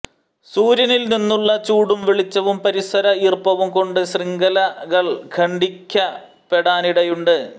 സൂര്യനിൽ നിന്നുളള ചൂടും വെളിച്ചവും പരിസര ഈർപ്പവും കൊണ്ട് ശൃംഖലകൾ ഖണ്ഡിക്കപ്പെടാനിടയുണ്ട്